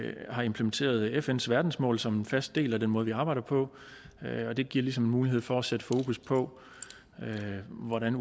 har implementeret fns verdensmål som en fast del af den måde vi arbejder på det giver ligesom mulighed for at sætte fokus på hvordan